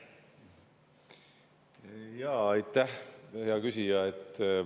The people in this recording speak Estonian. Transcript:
Jaa, aitäh, hea küsija!